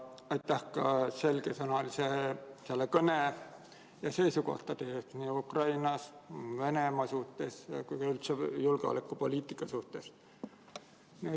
Aitäh ka selgesõnalise kõne ja seisukohtade eest nii Ukraina ja Venemaa suhtes kui ka üldse julgeolekupoliitika suhtes!